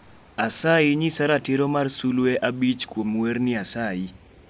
asayi nyisa ratiro mar sulwe abich kuom werni asayi